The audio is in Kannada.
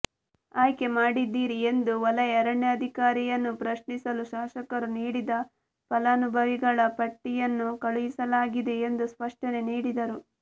ಆಯ್ಕೆ ಮಾಡಿದ್ದೀರಿ ಎಂದು ವಲಯ ಅರಣ್ಯಾಧಿಕಾರಿಯನ್ನು ಪ್ರಶ್ನಿಸಲು ಶಾಸಕರು ನೀಡಿದ ಫಲಾನುಭವಿಗಳ ಪಟ್ಟಿಯನ್ನು ಕಳುಹಿಸಲಾಗಿದೆ ಎಂದು ಸ್ಪಷ್ಟನೆ ನೀಡಿದರು